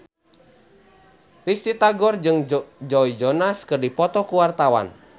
Risty Tagor jeung Joe Jonas keur dipoto ku wartawan